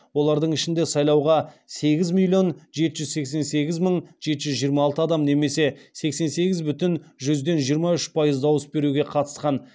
олардың ішінде сайлауға сегіз миллион жеті жүз сексен сегіз мың жеті жүз жиырма алты адам немесе сексен сегіз бүтін жүзден жиырма үш пайыз дауыс беруге қатысқан